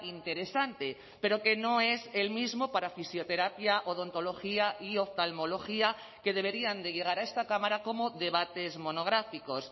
interesante pero que no es el mismo para fisioterapia odontología y oftalmología que deberían de llegar a esta cámara como debates monográficos